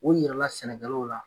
O yira la sɛnɛkɛw la